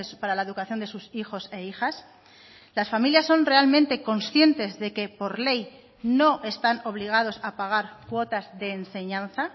para la educación de sus hijos e hijas las familias son realmente conscientes de que por ley no están obligados a pagar cuotas de enseñanza